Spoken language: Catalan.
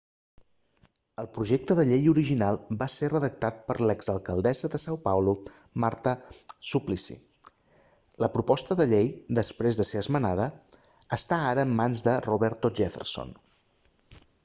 el projecte de llei original va ser redactat per l'exalcaldessa de são paulo marta suplicy. la proposta de llei després de ser esmenada està ara en mans de roberto jefferson